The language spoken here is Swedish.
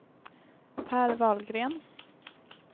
Per Wahlgren